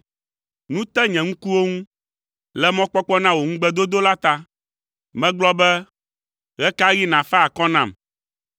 Nu te nye ŋkuwo ŋu, le mɔkpɔkpɔ na wò ŋugbedodo la ta. Megblɔ be, “Ɣe ka ɣi nàfa akɔ nam?”